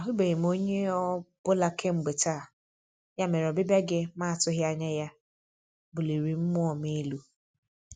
Ahụbeghị onye ọ bụla kemgbe taa, ya mere ọbịbịa gị ma atụghị anya buliri mmụọ m elu.